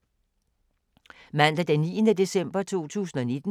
Mandag d. 9. december 2019